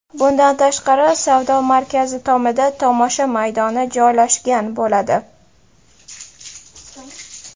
Bundan tashqari, savdo markazi tomida tomosha maydoni joylashgan bo‘ladi.